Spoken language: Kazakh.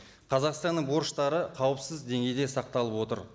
қазақстанның борыштары қауіпсіз деңгейде сақталып отыр